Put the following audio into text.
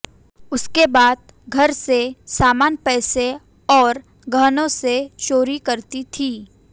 उसके बाद घर से सामान पैसे और गहनों से चोरी करती थी